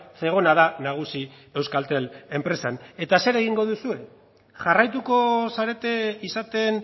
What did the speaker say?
zegona da nagusi euskaltel enpresan eta zer egingo duzue jarraituko zarete izaten